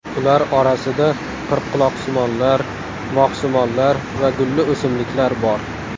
Ular orasida qirqquloqsimonlar, moxsimonlar va gulli o‘simliklar bor.